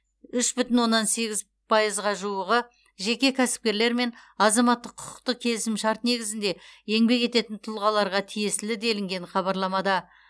үш бүтін оннан сегіз пайызға жуығы жеке кәсіпкерлер мен азаматтық құқықтық келісімшарт негізінде еңбек ететін тұлғаларға тиесілі делінген хабарламада